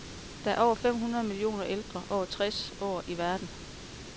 Der er over fem hundrede millioner ældre over tres år i verden.